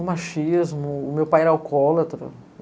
O machismo, o meu pai era alcoólatra.